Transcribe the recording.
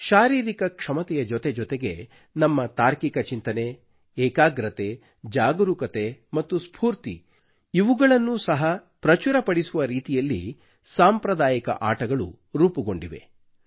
ಶಾರೀರಿಕ ಕ್ಷಮತೆಯ ಜೊತೆಜೊತೆಗೆ ನಮ್ಮ ತಾರ್ಕಿಕ ಚಿಂತನೆ ಏಕಾಗ್ರತೆ ಜಾಗರೂಕತೆ ಮತ್ತು ಸ್ಫೂರ್ತಿ ಇವುಗಳನ್ನೂ ಸಹ ಪ್ರಚುರಪಡಿಸುವ ರೀತಿಯಲ್ಲಿ ಸಾಂಪ್ರದಾಯಿಕ ಆಟಗಳು ರೂಪುಗೊಂಡಿವೆ